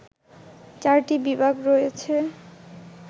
৪ টি বিভাগ রয়েছে